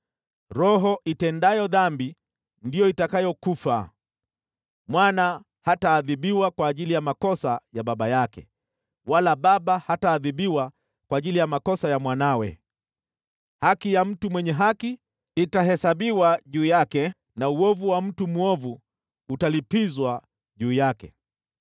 Roho itendayo dhambi ndiyo itakayokufa. Mwana hataadhibiwa kwa ajili ya makosa ya baba yake, wala baba hataadhibiwa kwa ajili ya makosa ya mwanawe. Haki ya mtu mwenye haki itahesabiwa juu yake na uovu wa mtu mwovu utalipizwa juu yake.